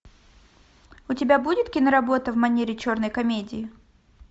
у тебя будет киноработа в манере черной комедии